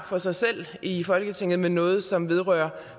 for sig selv i folketinget men noget som vedrører